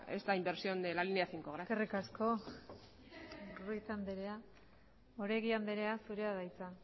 esta inversión de la línea cinco gracias eskerrik asko ruiz anderea oregi anderea zurea da hitza